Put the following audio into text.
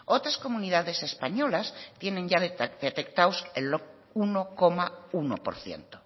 otras comunidades españolas tienen ya detectados el uno coma uno por ciento